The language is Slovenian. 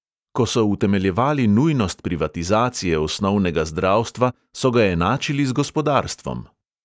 Ko so utemeljevali nujnost privatizacije osnovnega zdravstva, so ga enačili z gospodarstvom.